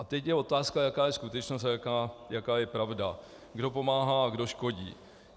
A teď je otázka, jaká je skutečnost a jaká je pravda, kdo pomáhá a kdo škodí.